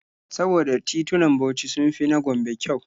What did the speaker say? Saboda titunan Bauchi sun fi na Gombe kyau.